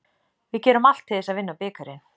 Við gerum allt til þess að vinna bikarinn.